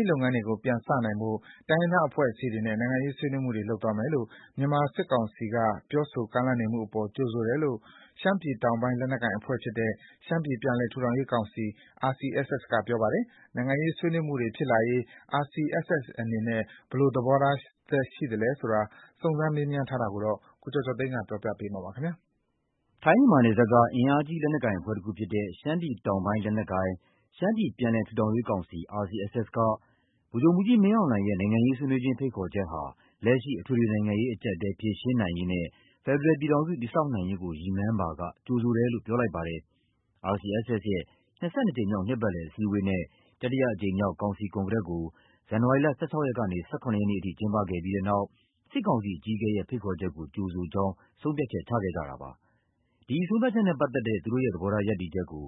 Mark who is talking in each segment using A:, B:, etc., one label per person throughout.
A: းလုပ်ငန်းစဉ်တွေပြန်စနိုင်ဖို့ တိုင်းရင်းသားအဖွဲ့အစည်းတွေနဲ့နိုင်ငံရေးဆွေးနွေးမှုတွေလုပ်သွားမယ်လို့ မြန်မာစစ်ကောင်စီက ပြောဆိုကမ်းလှမ်းနေမှုအပေါ် ကြိုဆိုတယ်လို့ ရှမ်းပြည်တောင်ပိုင်းလက်နက်ကိုင်အဖွဲ့ဖြစ်တဲ့ ရှမ်းပြည်ပြန်လည်ထူထောင်ရေးကောင်စီ RCSS က ပြောပါတယ်။ နိုင်ငံရေးဆွေးနွေးမှုတွေဖြစ်လာရေး RCSS အနေနဲ့ ဘယ်လိုသဘောထားရှိလဲဆိုတာ စုံစမ်းမေးမြန်းထားတာကို ကိုကျော်ကျော်သိန်းပြောပြပါမယ်။ ထိုင်း-မြန်မာနယ်စပ်က အင်အားကြီး လက်နက်ကိုင်အဖွဲ့တစ်ခုဖြစ်တဲ့ ရှမ်းပြည်တောင်ပိုင်းလက်နက်ကိုင် ရှမ်းပြည်ပြန်လည်ထူထောင်ရေးကောင်စီ RCSS က ဗိုလ်ချုပ်မှုးကြီး မင်းအောင်လှိုင်ရဲ့ နိုင်ငံရေးဆွေးနွေးခြင်း ဖိတ်ခေါ်ချက်ဟာ လက်ရှိ အထွေထွေနိုင်ငံရေးအကျပ်အတည်း ဖြေရှင်းနိုင်ရေးနဲ့ ဖက်ဒရယ်ပြည်ထောင်စုတည်ဆောက်နိုင်ရေးကို ရည်မှန်းပါက ကြိုဆိုတယ်လို့ ပြောကြားလိုက်ပါတယ်။ RCSS ရဲ့ ၂၂ ကြိမ်မြောက် နှစ်ပတ်လည်အစည်းအဝေးနဲ့ တတိယအကြိမ်မြောက် ကောင်စီကွန်ဂရက်ကို ဇန်နဝါရီလ ၁၆ ရက်ကနေ ၁၇ ရက်နေ့အထိ ကျင်းပခဲ့ပြီးနောက် စစ်ကောင်စီအကြီးအကဲရဲ့ ဖိတ်ခေါ်ချက်ကို ကြိုဆိုကြောင်း ဆုံးဖြတ်ချက်ချခဲ့ကြတာဖြစ်ပါတယ်။ ဒီဆုံးဖြတ်ချက်နဲ့ပတ်သက်တဲ့ သူတို့ရဲ့သဘောထား ရပ်တည်ချက်ကို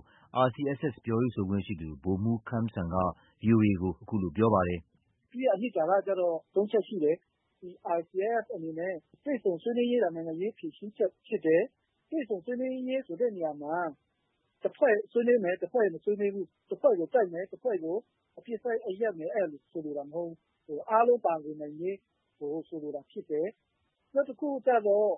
A: RCSS ရဲ့ ပြောရေးဆိုခွင့်ရှိသူ ဗိုလ်မှုးခမ်းစံက VOA ကို အခုလို ပြောပါတယ်။
B: “ သူ့ရဲ့အနှစ်သာရကျတော့ ၃ ချက်ရှိတယ်။ RCSS အနေနဲ့ တွေ့ဆုံဆွေးနွေးရေးသာ နိုင်ငံရေး ဖြေရှင်းချက် ဖြစ်တယ်။ တွေ့ဆုံဆွေးနွေးရေးဆိုတဲ့နေရာမှာ တစ်ဖွဲ့ဆွေးနွေးမယ်၊ တစ်ဖွဲ့ မဆွေးနွေးဘူး။ တစ်ဖွဲ့ကို တိုက်မယ်၊ တစ်ဖွဲ့ကို အပစ်အခတ်ရပ်မယ် အဲလိုမျိုး ဆိုလိုတာမဟုတ်ဘူး။ အားလုံး ပါဝင်နိုင်ရေး ကို ဆိုလိုတာဖြစ်တယ်။ နောက်တစ်ခုကျတော့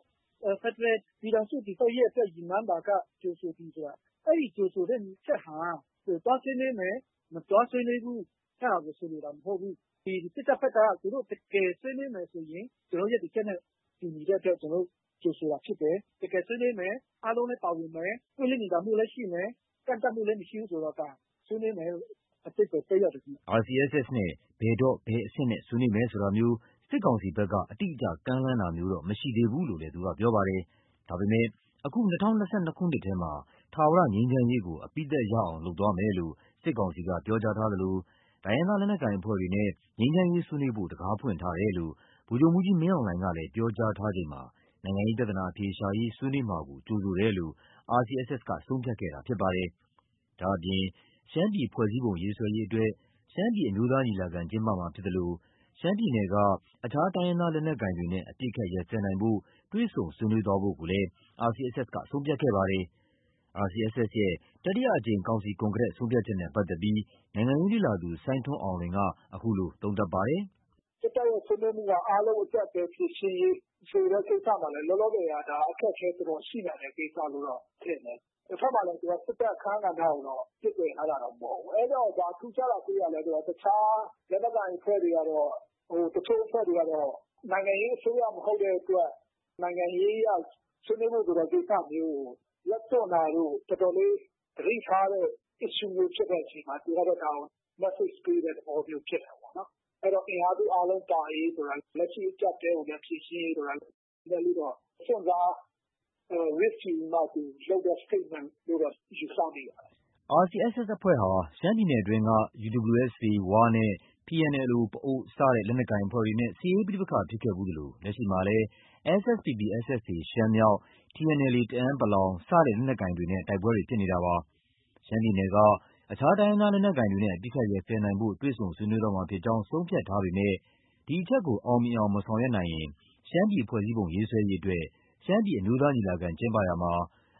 B: ဖက်ဒရယ် ပြည်ထောင်စုတည်ဆောက်ရေးကို ရည်မှန်းပါက ကြိုဆိုသည်ဆိုတာ၊ အဲဒီ ကြိုဆိုတဲ့အချက်ဟာ သွားဆွေးနွေးမယ်၊ သွားမဆွေးနွေးဘူး။ အဲဒါကို ဆိုလိုတာမဟုတ်ဘူး။ စစ်တပ်ဘက်က တကယ်ဆွေးနွေးမယ်ဆိုရင် ကျနော်တို့ ရပ်တည်ချက်နဲ့ တူညီတဲ့အတွက် ကြိုဆိုတာဖြစ်တယ်။ တကယ် ဆွေးနွေးမယ်။ အားလုံးလည်းပါဝင်မယ်။ ပွင့်လင်းမြင်သာမှုလည်းရှိမယ်။ ကန့်သတ်မှုလည်း မရှိဘူးဆိုရင်တော့ ဒါ ဆွေးနွေးမယ်လို့ အဓိပါ္ပယ် သက်ရောက်တယ် ခင်ဗ
A: ျ။ ” RCSS နဲ့ ဘယ်တော့၊ ဘယ်အဆင့်နဲ့ ဆွေးနွေးမယ်ဆိုတာမျိုး စစ်ကောင်စီဘက်က အတိအကျ ကမ်းလှမ်းတာမျိုးတော့ မရှိသေးဘူးလို့လည်း သူကပြောပါတယ်။ ဒါပေမဲ့ အခု ၂၀၂၂ ခုနှစ်ထဲမှာ ထာဝရငြိမ်းချမ်းရေးကို အပြီးသတ်ရအောင်လုပ်သွားမယ်လို့ စစ်ကောင်စီက ပြောကြားထားသလို၊ တိုင်းရင်းသားလက်နက်ကိုင်အဖွဲ့တွေနဲ့ ငြိမ်းချမ်းရေးဆွေးနွေးဖို့ တခါးဖွင့်ထားတယ်လို့ ဗိုလ်ချုပ်မှူးကြီးမင်းအောင်လှိုင်ကလည်း ပြောကြားထားချိန်မှာ နိုင်ငံရေးပြဿနာအဖြေရှာရေး ဆွေးနွေးမှာကို ကြိုဆိုတယ်လို့ RCSS ကဆုံးဖြတ်ခဲ့တာဖြစ်ပါတယ်။ ဒါ့အပြင် ရှမ်းပြည်ဖွဲ့စည်းပုံရေးဆွဲရေးအတွက် ရှမ်းပြည်အမျိုးသားညီလာခံကျင်းပမှာဖြစ်သလို ရှမ်းပြည်နယ်က အခြားတိုင်းရင်းသားလက်နက်ကိုင်တွေနဲ့ အပစ်အခတ်ရပ်စဲနိုင်ဖို့ တွေ့ဆုံဆွေးနွေးသွားဖို့ကိုလည်း RCSS က ဆုံးဖြတ်ခဲ့ပါတယ်။ RCSS ရဲ့ တတိယအကြိမ် ကောင်စီကွန်ဂရက်ရဲ့ ဆုံးဖြတ်ချက်နဲ့ပတ်သက်ပြီး နိုင်ငံရေးလေ့လာသူ စိုင်းထွန်းအောင်လွင်က အခုလို သုံးသပ်ထားပါတယ်။
B: “ စစ်တပ်ရဲ့ ဆွေးနွေးမှုက အားလုံး အကျပ်အတည်းအားလုံးဖြေရှင်းရေး ဆိုတဲ့ ကိစ္စမှာလည်း လောလောဆယ်က အခက်အခဲတော်တော်ရှိနိုင်တဲ့ ကိစ္စလို့တော့ ထင်တယ်။ တဘက်မှာလည်း သူက စစ်တပ်အခန်းကဏ္ဍကို ပစ်ပယ်ထားတာတော့ မဟုတ်ဘူး။ အဲတော့ ဘာထူးခြားတာတွေ့ရလဲ ဆိုတော့ တခြားလက်နက်ကိုင်အဖွဲ့တွေကတော့၊ တချို့အဖွဲ့တွေကတော့ နိုင်ငံရေးအစိုးရမဟုတ်တဲ့အတွက် နိုင်ငံရေး အရ ဆွေးနွေးမယ်ဆိုတဲ့ ကိစ္စမျိုးကို လက်တွန့်တာတို့၊ တော်တော်လေး သတိထားတဲ့ issue ဖြစ်တဲ့အချိန်မှာ သူကတော့ ဒါကို massage ပေးတဲ့ သဘောမျိုးဖြစ်တာပေါ့နော်။ အဲတော့ အင်အားစုအားလုံးပါရေးဆိုတာ၊ လက်ရှိအကျပ်အတည်းကိုလည်း ဖြေရှင်းရေးဆိုတာ နည်းနည်းလေးတော့ စွန့်စား၊ Risk ယူပြီးမှ သူ လုပ်တဲ့ statement လို့တော့ ယူဆမိပါတယ်
A: ။” RCSS အဖွဲ့ဟာ ရှမ်းပြည်နယ်အတွင်းက UWSA ၀ နဲ့ PNLO ပအိုဝ်း စတဲ့ လက်နက်ကိုင်အဖွဲ့တွေနဲ့ စစ်ရေး ပဋိပက္ခဖြစ်ခဲ့ဖူးသလို လက်ရှိမှာလည်း SSPP/SSA ရှမ်းမြောက်၊ TNLA တအန်း(ပလောင်) စတဲ့ လက်နက်ကိုင် တွေနဲ့ တိုက်ပွဲတွေ ဖြစ်နေတာပါ။ ရှမ်းပြည်နယ်က အခြားတိုင်းရင်းသားလက်နက်ကိုင်တွေနဲ့ အပစ်အခတ်ရပ်စဲနိုင်ဖို့ တွေ့ဆုံဆွေးနွေးသွားမှာ ဖြစ်ကြောင်း ဆုံးဖြတ်ထားပေမဲ့ ဒီအချက်ကို အောင်မြင်အောင် မဆောင်ရွက်နိုင်ရင်၊ ရှမ်းပြည်ဖွဲ့စည်းပုံ ရေးဆွဲရေး အတွက် ရှမ်းပြည် အမျိုးသားညီလာခံကျင်းပရာမှာ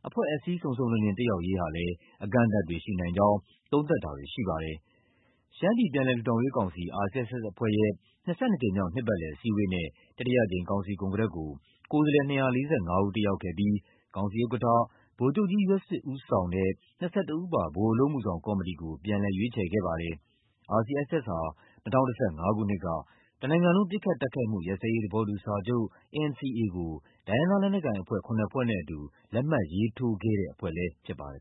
A: အဖွဲ့အစည်း စုံစုံလင်လင်တက်ရောက်ရေး ဟာလည်း အကန့်အသတ်တွေ ရှိနိုင်ကြောင်း သုံးသပ်တာတွေ ရှိနေပါတယ်။ ရှမ်းပြည်ပြန်လည်ထူထောင်ရေးကောင်စီ RCSS အဖွဲ့ရဲ့ ၂၂ ကြိမ်မြောက် နှစ်ပတ်လည်အစည်းအဝေးနဲ့ တတိယအကြိမ် ကောင်စီကွန်ဂရက်ကို ကိုယ်စားလှယ် ၂၄၅ ဦးတက်ရောက်ခဲ့ပြီး ကောင်စီဥက္ကဌ ဗိုလ်ချုပ်ကြီး ယွတ်ဆစ် ဦးဆောင်တဲ့ ၂၁ ဦးပါ ဗဟိုအလုပ်အမှုဆောင် ကော်မတီကို ပြန်လည်ရွေးခြယ်ခဲ့ပါတယ်။ RCSS ဟာ ၂၀၁၅ခုနှစ်က တစ်နိုင်ငံလုံးပစ်ခတ်တိုက်ခိုက်မှုရပ်စဲရေးသဘောတူစာချုပ် NCA ကို တိုင်းရင်းသားလက်နက်ကိုင်အဖွဲ့ ၇ဖွဲ့နဲ့အတူ လက်မှတ်ရေးထိုးခဲ့တဲ့ အဖွဲ့လည်း ဖြစ်ပါတယ်